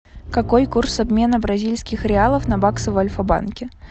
какой курс обмена бразильских реалов на баксы в альфабанке